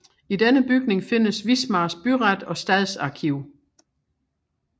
I denne bygning findes Wismars byret og stadsarkiv